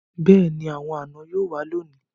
Beeni, awon ana yoo wa loni